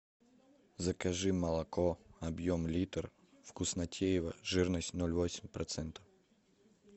закажи молоко объем литр вкуснотеево жирность ноль восемь процента